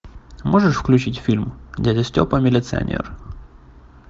можешь включить фильм дядя степа милиционер